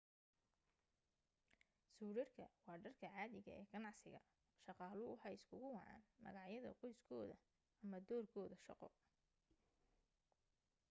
suudhadhka waa dharka caadiga ee ganacsiga shaqaaluhu waxay isugu wacaan magacyada qoyskooda ama doorkooda shaqo